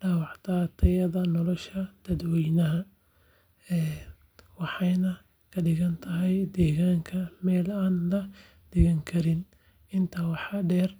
dhaawacdaa tayada nolosha dadweynaha waxayna ka dhigtaa deegaanka meel aan la degganaan karin. Intaa waxaa dheer.